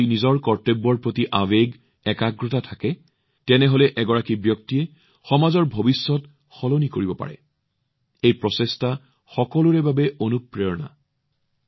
যদি নিজৰ কৰ্তব্যৰ প্ৰতি আবেগ গম্ভীৰতা থাকে তেন্তে আনকি এজন ব্যক্তিও সমগ্ৰ সমাজৰ ভৱিষ্যত কেনেদৰে সলনি কৰিব পাৰে এই প্ৰচেষ্টা ইয়াৰ এক মহান অনুপ্ৰেৰণা